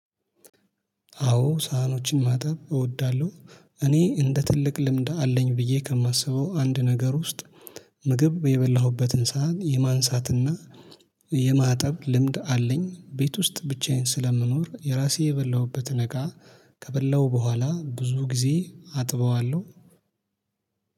አዎ ሳህኖችን ማጠብ እወዳለሁ እኔ እንደ ትልቅ ልምድ አለኝ ብዬ ከማስበው አንድ ነገር ውስጥ ምግብ የበላሁበትን ሳህን የማንሳትና የማጠብ ልምድ አለኝ። ቤት ውስጥ ብቻዬን ስለምኖር የራሴ የበላሁበትን እቃ ከበላሁ በኋላ ብዙ ጊዜ አጥበዋለሁ።